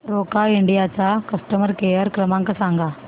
Roca India चा customer care क्रमांक सांगा